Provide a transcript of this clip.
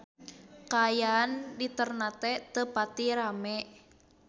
Kaayaan di Ternate teu pati rame